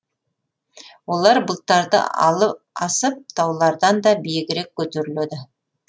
олар бұлттарды асып таулардан да биігірек көтеріледі